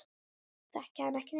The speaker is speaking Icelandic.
Þekki hann ekki neitt.